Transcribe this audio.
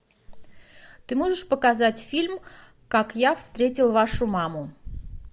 ты можешь показать фильм как я встретил вашу маму